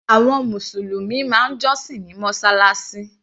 Àwọn mùsùlùmí máa ń jọ́sìn ní mọ́sálásí.